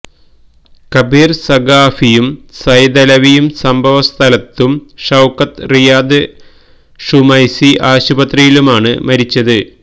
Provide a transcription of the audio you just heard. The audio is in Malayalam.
കബീര് സഖാഫിയും സൈതലവിയും സംഭവ സ്ഥലത്തും ഷൌക്കത്ത് റിയാദ് ഷുമൈസി ആശുപത്രിയിലുമാണ് മരിച്ചത്